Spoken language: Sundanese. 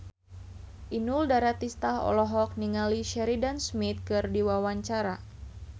Inul Daratista olohok ningali Sheridan Smith keur diwawancara